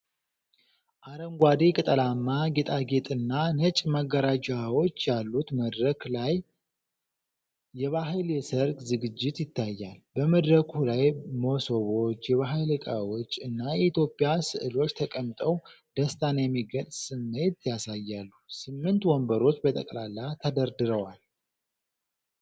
አረንጓዴ ቅጠላማ ጌጣጌጥና ነጭ መጋረጃዎች ያሉት መድረክ ላይ፤ የባህል የሠርግ ዝግጅት ይታያል። በመድረኩ ላይ መሶቦች፣ የባህል ዕቃዎች እና የኢትዮጵያ ሥዕሎች ተቀምጠው ደስታን የሚገልጽ ስሜት ያሳያሉ። ስምንት ወንበሮች በጠቅላላ ተደርድረዋል ።